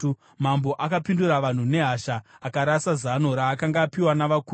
Mambo akapindura vanhu nehasha. Akarasa zano raakanga apiwa navakuru,